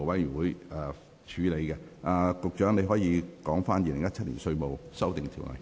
局長，你現在可以動議二讀《2017年稅務條例草案》。